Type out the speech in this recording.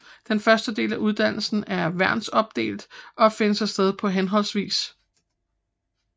Den første del af uddannelsen er værnsopdelt og finder sted på hhv